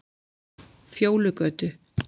Fjólugötu